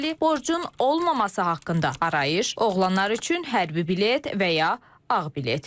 borcun olmaması haqqında arayış, oğlanlar üçün hərbi bilet və ya ağ bilet.